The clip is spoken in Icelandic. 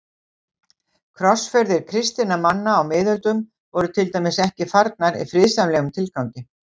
Krossferðir kristinna manna á miðöldum voru til dæmis ekki farnar í friðsamlegum tilgangi.